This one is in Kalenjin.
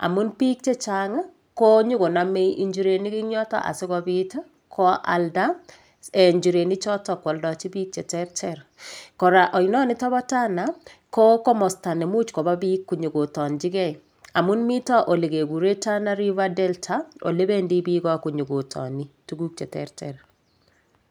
amun biik chechang' konyikonomei njirenik eng' yoto asikobit koalda njirenichoto koaldoji biik cheterter kora oinonoto bo Tana kokomosta nemuch koba biik konyikotonjigei amun mito ole kekurei Tana river delta ole bendi biko konyikotoni tuguk cheterter